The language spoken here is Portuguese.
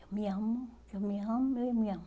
Eu me amo, eu me amo, eu me me amo.